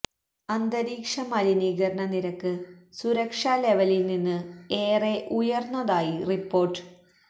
അന്തരീക്ഷ മലിനീകരണ നിരക്ക് സുരക്ഷ ലെവലിൽ നിന്ന് ഏറെ ഉയർന്നതായി റിപ്പോർട്ട്